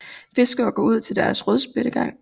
Fiskere går ud til deres rødspættegang